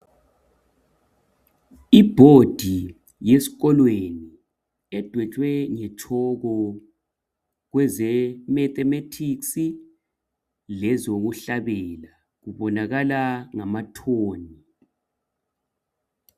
Iboard yesikolweni edwetshwe nge tshoko kweze mathematics lezokuhlabela. Kubonakala ngama tone .